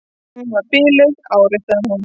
Hún var biluð, áréttaði hún.